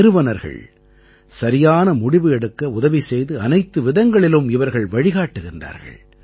நிறுவனர்கள் சரியான முடிவு எடுக்க உதவி செய்து அனைத்து விதங்களிலும் இவர்கள் வழிகாட்டுகிறார்கள்